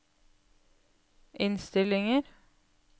innstillinger